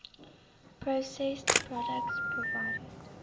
processed products provided